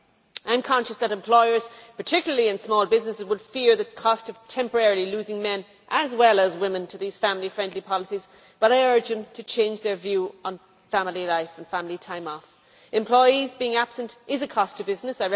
I am conscious that employers, particularly in small businesses, would fear the cost of temporarily losing men as well as women to these family friendly policies, but I urge them to change their views on family life and family time off. Employees being absent is a cost to business